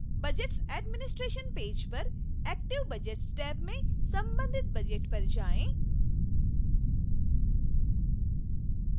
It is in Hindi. budgets administration पेज पर active budgets टैब में संबंधित budget पर जाएँ